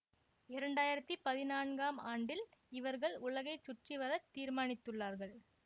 இரண்டு ஆயிரத்தி பதினான்காம் ஆண்டில் இவர்கள் உலகை சுற்றிவரத் தீர்மானித்துள்ளார்கள்